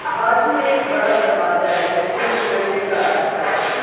बाजू में एक बड़ा दरवाजा है जिसे निकलने का रास्ता है।